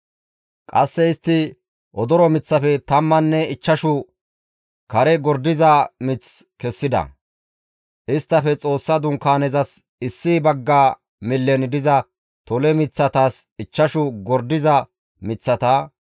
Qasse istti odoro miththafe tammanne ichchashu kare gordiza mith kessida; isttafe Xoossa Dunkaanezas issi bagga millen diza tole miththatas ichchashu gordiza miththata,